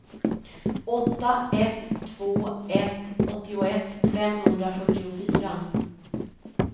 åtta ett två ett åttioett femhundrafyrtiofyra